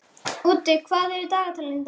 Úddi, hvað er á dagatalinu í dag?